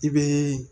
I bɛ